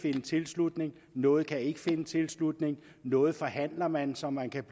finde tilslutning noget kan ikke finde tilslutning noget forhandler man som man kan